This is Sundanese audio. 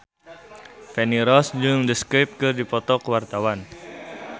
Feni Rose jeung The Script keur dipoto ku wartawan